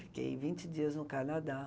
Fiquei vinte dias no Canadá.